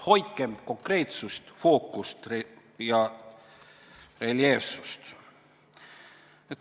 Hoidkem konkreetsust, fookust ja reljeefsust!